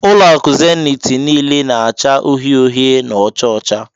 Ulo aku Zenith nile n'acha uhie uhie na ocha ocha